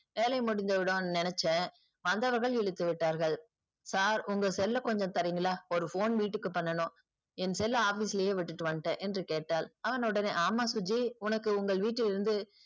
வேலை முடிஞ்சிடும்னு நினைச்சேன் வந்தவர்கள் இழுத்து விட்டார்கள். sir உங்க cell ஐ கொஞ்சம் தருகிறீர்களா ஒரு phone வீட்டுக்கு பண்ணனும் என் cell ல office இல்லையே விட்டுட்டு வந்துட்டேன் என்று கேட்டாள். அவன் உடனே ஆமாம் சுஜி உனக்கு உங்கள் வீட்டிலிருந்து